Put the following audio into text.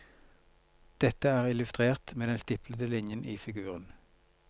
Dette er illustrert med den stiplede linjen i figuren.